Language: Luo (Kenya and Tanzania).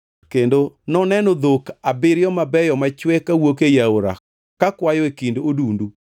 kendo noneno dhok abiriyo mabeyo machwe kawuok ei aora kakwayo e kind odundu.